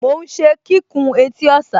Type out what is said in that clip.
Mò ún ṣe kíkùn etí ọ̀sà